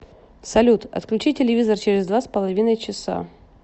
салют отключи телевизор через два с половиной часа